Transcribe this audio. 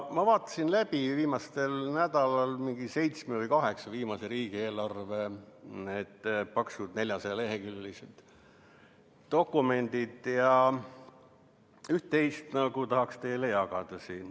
Ma vaatasin viimasel nädalal läbi seitsme või kaheksa viimase riigieelarve paksud, 400-leheküljelised dokumendid ja üht-teist tahaksin teiega siin jagada.